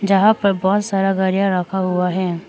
यहां पर बहुत सारा गाड़ियां रखा हुआ है।